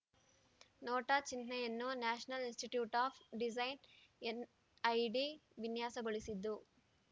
NOTA ಚಿಹ್ನೆಯನ್ನು national institute of design NID ವಿನ್ಯಾಸಗೊಳಿಸಿದ್ದು